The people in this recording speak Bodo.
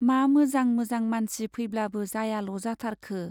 मा मोजां मोजां मानसि फैब्लाबो जायाल' जाथारखो ?